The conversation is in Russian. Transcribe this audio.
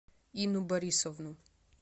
инну борисовну